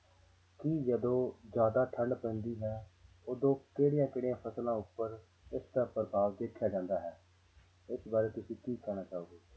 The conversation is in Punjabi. ਕੀ ਜਦੋਂ ਜ਼ਿਆਦਾ ਠੰਢ ਪੈਂਦੀ ਹੈ ਉਦੋਂ ਕਿਹੜੀਆਂ ਕਿਹੜੀਆਂ ਫ਼ਸਲਾਂ ਉੱਪਰ ਇਸਦਾ ਪ੍ਰਭਾਵ ਦੇਖਿਆ ਜਾਂਦਾ ਹੈ, ਇਸ ਬਾਰੇ ਤੁਸੀਂ ਕੀ ਕਹਿਣਾ ਚਾਹੋਗੇ।